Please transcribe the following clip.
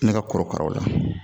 Ne ka korokaraw la